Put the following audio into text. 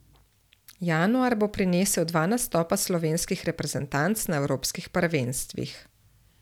Januar bo prinesel dva nastopa slovenskih reprezentanc na evropskih prvenstvih.